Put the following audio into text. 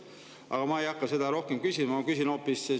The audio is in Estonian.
Aga ma ei hakka selle kohta rohkem küsima, ma küsin hoopis seda.